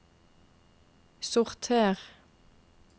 sorter